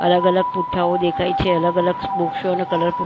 અલગ અલગ પૂઠાંઓ દેખાય છે. અલગ અલગ બુકશોનો કલર પ--